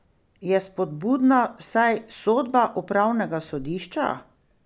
Je spodbudna vsaj sodba upravnega sodišča?